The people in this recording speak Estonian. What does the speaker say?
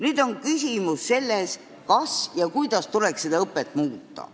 Nüüd on küsimus selles, kas ja kuidas tuleks õpet muuta.